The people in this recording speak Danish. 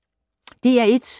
DR1